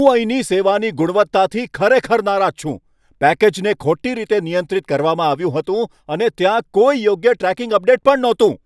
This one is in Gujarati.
હું અહીંની સેવાની ગુણવત્તાથી ખરેખર નારાજ છું. પેકેજને ખોટી રીતે નિયંત્રિત કરવામાં આવ્યું હતું, અને ત્યાં કોઈ યોગ્ય ટ્રેકિંગ અપડેટ પણ નહોતું!